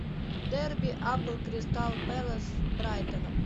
дерби апл кристал пэлас с брайтоном